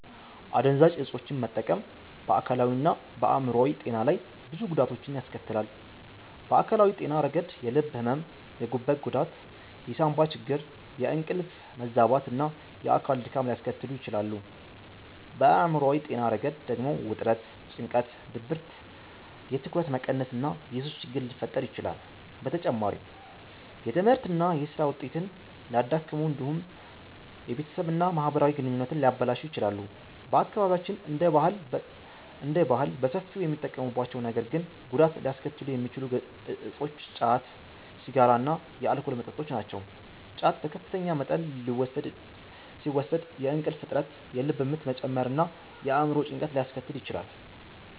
አደንዛዥ ዕፆችን መጠቀም በአካላዊና በአእምሯዊ ጤና ላይ ብዙ ጉዳቶችን ያስከትላል። በአካላዊ ጤና ረገድ የልብ ሕመም፣ የጉበት ጉዳት፣ የሳንባ ችግር፣ የእንቅልፍ መዛባት እና የአካል ድካም ሊያስከትሉ ይችላሉ። በአእምሯዊ ጤና ረገድ ደግሞ ውጥረት፣ ጭንቀት፣ ድብርት፣ የትኩረት መቀነስ እና የሱስ ችግር ሊፈጠር ይችላል። በተጨማሪም የትምህርትና የሥራ ውጤትን ሊያዳክሙ እንዲሁም የቤተሰብና የማህበራዊ ግንኙነቶችን ሊያበላሹ ይችላሉ። በአካባቢያችን እንደ ባህል በሰፊው የሚጠቀሙባቸው ነገር ግን ጉዳት ሊያስከትሉ የሚችሉ እፆች ጫት፣ ሲጋራ እና የአልኮል መጠጦች ናቸው። ጫት በከፍተኛ መጠን ሲወሰድ የእንቅልፍ እጥረት፣ የልብ ምት መጨመር እና የአእምሮ ጭንቀት ሊያስከትል ይችላል።